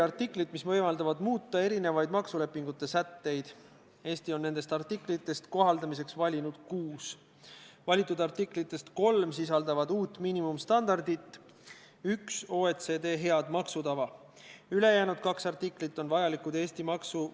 Artikkel 22 kehtestab kohustuse abistada puudega isikuid jaamades, kus on olemas reisijaid teenindav personal, ja personalita jaamades peab olema avaldatud teave lähima personaliga jaama kohta, kus puudega isikule on vajalik abi kättesaadav.